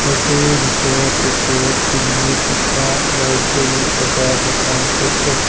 ঘৰটোৰ ভিতৰত ওপৰত চিলিঙিত দুটা লাইট জ্বলি থকা দেখা গৈছে।